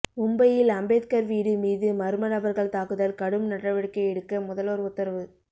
மும்பையில் அம்பேத்கா் வீடு மீது மா்ம நபா்கள் தாக்குதல் கடும் நடவடிக்கை எடுக்க முதல்வா் உத்தரவு